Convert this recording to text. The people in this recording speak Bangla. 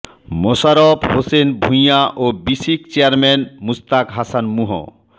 মোশাররফ হোসেন ভূঁইয়া ও বিসিক চেয়ারম্যান মুশতাক হাসান মুহ